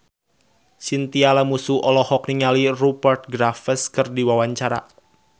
Chintya Lamusu olohok ningali Rupert Graves keur diwawancara